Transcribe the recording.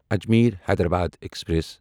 Ajmer Hyderabad express